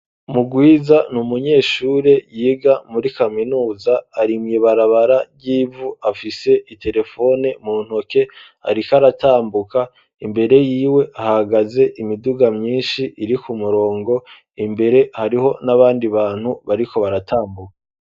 Mugwiza ni umunyeshure yiga muri kaminuza arimye barabara ry'ivu afise iterefone mu ntoke ariko aratambuka imbere yiwe hahagaze imiduga myinshi iri ku murongo imbere hariho n'abandi bantu bariko baratambuka.